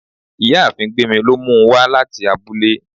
ìyáàfín gbemí lo mú u wa latí abúlé